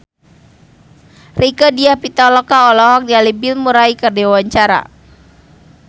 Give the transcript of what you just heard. Rieke Diah Pitaloka olohok ningali Bill Murray keur diwawancara